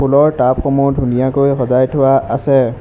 ফুলৰ টাবসমূহ ধুনীয়াকৈ সজাই থোৱা আছে।